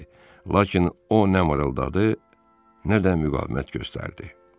Lakin o nə mırıldadı, nə də müqavimət göstərdi.